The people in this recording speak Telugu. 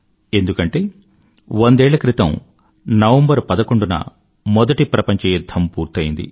ఎందుకంటే వందేళ్ల క్రితం నవంబర్11న మొదటి ప్రపంచ యుధ్ధం పూర్తయ్యింది